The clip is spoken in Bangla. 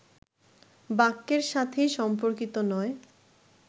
বাক্যের সাথেই সম্পর্কিত নয়